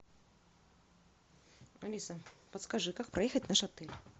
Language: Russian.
алиса подскажи как проехать в наш отель